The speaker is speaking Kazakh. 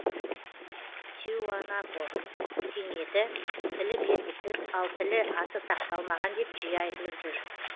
тиуанако өркениеті тілі белгісіз ал тілі аты сақталмаған деп жиі айтылып жүр